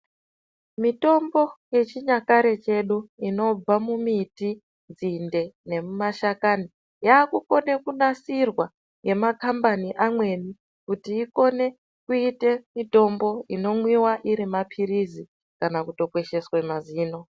Mitombo yechinyakare chedu inobva mumiti, nzinde nemumashakani. Yakukone kunasirwa nemakambani amweni kuti ikone kuita mitombo inomwiva ari maphirizi kana kutokwesheswe mazino.